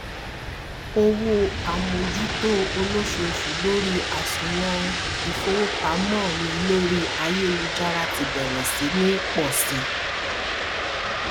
owó àmójútó olóṣooṣù lórí àsùnwòn ìfowópamọ mi lórí ayélujára tí bẹrẹ sí ní pọ si